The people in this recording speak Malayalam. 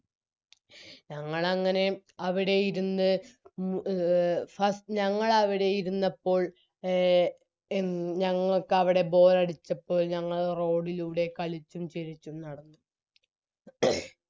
ഞങ്ങളങ്ങനെ അവിടെ ഇരുന്ന് എ ഫസ് ഞങ്ങളവിടെ ഇരുന്നപ്പോൾ ഞങ്ങൾക്കവിടെ bore അടിച്ചപ്പോൾ ഞങ്ങൾ road ലൂടെ കളിച്ചും ചിരിച്ചും നടന്നു